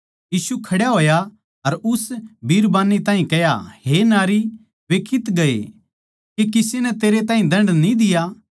यीशु खड्या होया अर उस बिरबान्नी ताहीं कह्या हे नारी वे कित्त गए के किस्से नै तेरै ताहीं दण्ड न्ही दिया